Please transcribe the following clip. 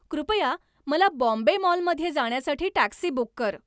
कृपया मला बॉम्बे मॉलमध्ये जाण्यासाठी टॅक्सी बुक कर